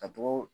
Ka togo